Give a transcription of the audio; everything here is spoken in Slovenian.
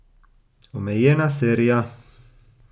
Omejena serija.